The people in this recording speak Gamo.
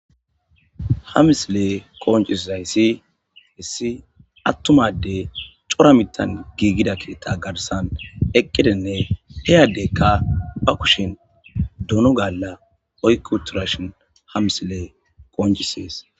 Hamisilee koonciszay ssi hissi attumade cora mitan giigida kita garsan eqqidinne heyaddeykka pa kushin duno galla oykuturashon hamisilee kooncisees.